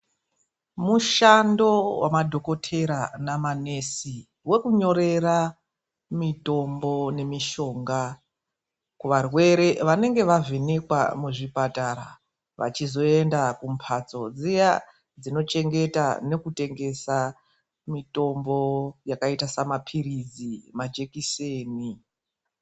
Mushando wemadhogodheya namanesi, wekunyorera mitombo nemishongo kuvarwere vanenge vavhenekwa muzvipatara vachizoenda kumhatso dziya dzotengesa mitombo yakaita samapiritsi nemajekiseni.